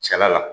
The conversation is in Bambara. Cɛla la